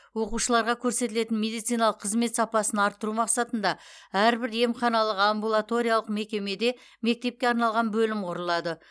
оқушыларға көрсетілетін медициналық қызмет сапасын арттыру мақсатында әрбір емханалық амбулаториялық мекемеде мектепке арналған бөлім құрылады